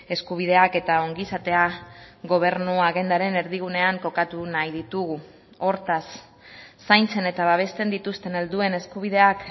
eskubideak eta ongizatea gobernu agendaren erdigunean kokatu nahi ditugu hortaz zaintzen eta babesten dituzten helduen eskubideak